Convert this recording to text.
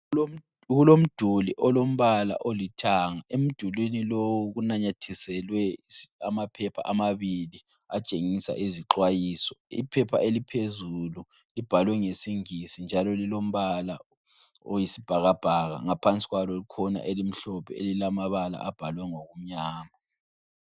Kulomduli olombala olithanga. Emdulwini lowu kunanyathiselwe amaphepha amabili atshengisa izixwayiso. Iphepha eliphezulu libhalwe ngesingisi njalo lilombala oyisibhakabhaka ngaphansi kwalo kukhona elimhlophe elilamabala abhalwe ngokumnyama.